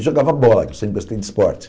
E jogava bola, que eu sempre gostei de esporte.